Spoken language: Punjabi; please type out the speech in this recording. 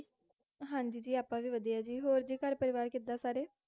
ਹਾਂਜੀ ਆਪਾਂ ਵੀ ਵਧੀਆ ਜੀ, ਹੋਰ ਜੀ ਘਰ ਪਰਿਵਾਰ ਕਿਦਾਂ ਸਾਰੇ,